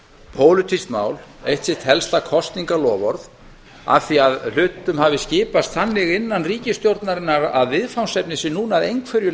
pólitískt mál eitt sitt helsta kosningaloforð af því hlutum hafi skipast þannig innan ríkisstjórnarinnar að viðfangsefnið sé núna að einhverju